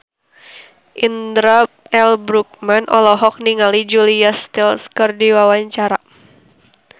Indra L. Bruggman olohok ningali Julia Stiles keur diwawancara